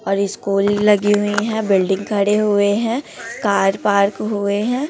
और स्कूल लगी हुई है बिल्डिंग खड़े हुए है कार पार्क हुए है।